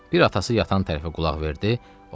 Bir atası yatan tərəfə qulaq verdi.